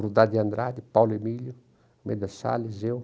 Rudá de Andrade, Paulo Emílio, Meda Sales, eu.